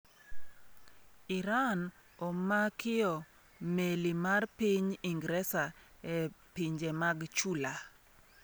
Iran omakio’ meli mar piny Ingresa e pinje mag Chula